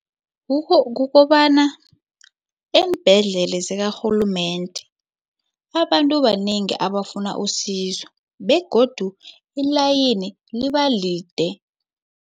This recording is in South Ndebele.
Kukobana eembhedlela zakarhulumende abantu banengi abafuna usizo begodu ilayini libalide.